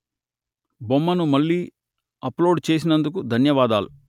బొమ్మను మళ్లీ అప్లోడు చేసినందుకు ధన్యవాదాలు